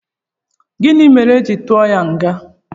Gịnị mere éjị tụọ ya nga?